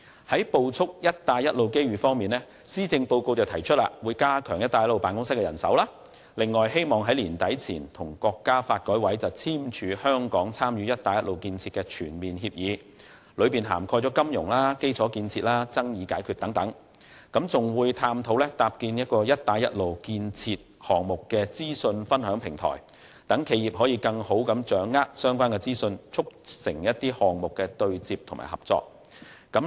在捕捉"一帶一路"機遇方面，施政報告提出加強"一帶一路"辦公室的人手，並希望在年底前與國家發展和改革委員會簽署香港參與"一帶一路"建設的全面協議，當中涵蓋金融、基礎建設和爭議解決等，又會探討搭建"一帶一路"建設項目的資訊分享平台，讓企業更好地掌握相關資訊，促進項目對接和企業合作。